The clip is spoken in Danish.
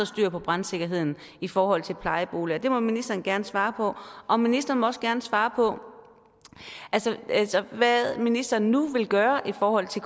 styr på brandsikkerheden i forhold til plejeboliger og det må ministeren gerne svare på og ministeren må også gerne svare på hvad ministeren nu vil gøre i forhold til